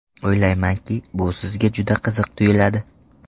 O‘ylaymanki, bu sizga juda qiziq tuyuladi.